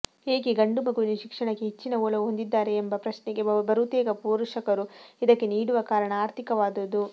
ಏಕೆ ಗಂಡು ಮಗುವಿನ ಶಿಕ್ಷಣಕ್ಕೆ ಹೆಚ್ಚಿನ ಒಲವು ಹೊಂದಿದ್ದಾರೆ ಎಂಬ ಪ್ರಶ್ನೆಗೆ ಬರುತೇಕ ಪೋಷಕರು ಇದಕ್ಕೆ ನೀಡುವ ಕಾರಣ ಆರ್ಥಿಕವಾದುದು